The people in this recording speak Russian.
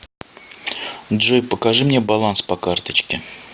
джой покажи мне баланс по карточке